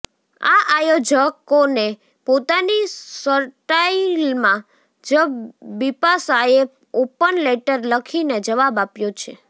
આ આયોજકોને પોતાની સટાઇલમાં જ બિપાશાએ ઓપન લેટર લખીને જવાબ આપ્યો છે